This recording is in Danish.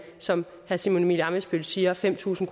som herre simon emil ammitzbøll siger fem tusind